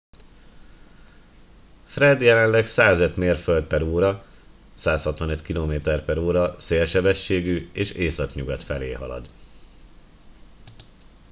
fred jelenleg 105 mérföld/óra 165 km/ó szélsebességgű és északnyugat felé halad